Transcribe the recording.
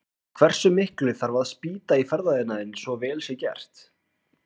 En hversu miklu þarf að spýta í ferðaiðnaðinn svo vel sé gert?